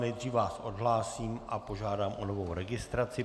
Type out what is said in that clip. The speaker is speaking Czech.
Nejdříve vás odhlásím a požádám o novou registraci.